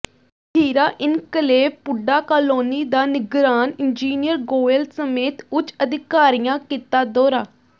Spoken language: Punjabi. ਹੀਰਾ ਇਨਕਲੇਵ ਪੁੱਡਾ ਕਾਲੋਨੀ ਦਾ ਨਿਗਰਾਨ ਇੰਜੀਨੀਅਰ ਗੋਇਲ ਸਮੇਤ ਉੱਚ ਅਧਿਕਾਰੀਆਂ ਕੀਤਾ ਦੌਰਾ